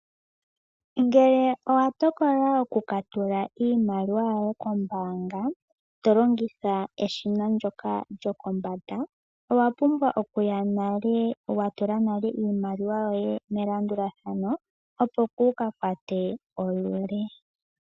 Ngele owa tokola okukatula iimaliwa yoye kombaanga to longitha eshina ndyoka lyokombanda owa pumbwa okuya nale wa tula iimaliwa yoye melandulathano opo kuuka kwate olule.